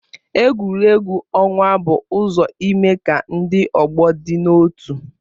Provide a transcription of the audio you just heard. Egwuregwu ọnwa bụ ụzọ ime ka ndị ọgbọ dị n'otu